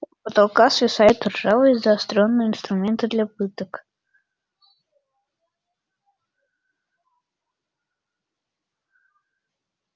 с потолка свисают ржавые заострённые инструменты для пыток